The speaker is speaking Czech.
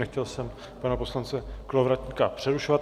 Nechtěl jsem pana poslance Kolovratníka přerušovat.